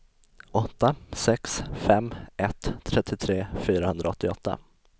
åtta sex fem ett trettiotre fyrahundraåttioåtta